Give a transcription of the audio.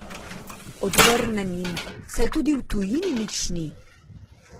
Odvrnem jim: "Saj tudi v tujini nič ni.